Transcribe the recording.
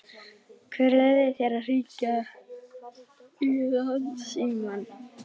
Hver leyfði þér að hringja í Landsímann?